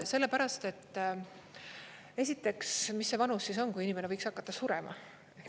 Sellepärast, et esiteks, mis see vanus on, kui inimene võiks hakata surema?